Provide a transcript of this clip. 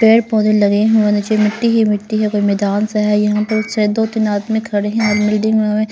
पेड़-पौधे लगे हुए हैं नीचे मिट्टी ही मिट्टी है कोई मैदान सा है यहां पर शायद दो-तीन आदमी खड़े हैं बिल्डिंग में में --